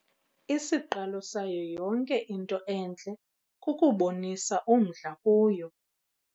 Isiqalo sayo yonke into entle kukubonisa umdla kuyo.